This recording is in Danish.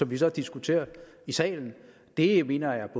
vi så diskuterer i salen det mener jeg